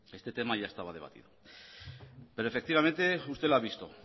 este tema ya estaba debatido pero efectivamente usted lo ha visto